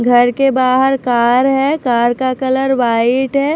घर के बाहर कार है कार का कलर वाइट है।